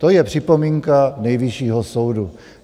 To je připomínka Nejvyššího soudu.